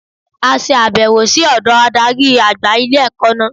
A sàbẹ̀wò sí ọ̀dọ̀ adarí àgbà ilé-ẹ̀kọ́ náà